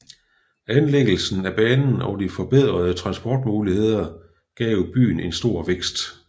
Anlæggelsen af banen og de forbedrede transportmuligheder gav byen en stor vækst